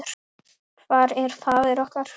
Hvar er faðir okkar?